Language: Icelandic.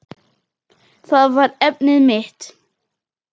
Það var efnið mitt.